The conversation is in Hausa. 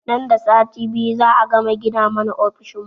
Nan da sati biyu za a gama gina mana ofishin mu